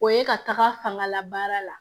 O ye ka taga fanga la baara la